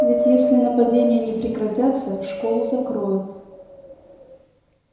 ведь если нападения не прекратятся школу закроют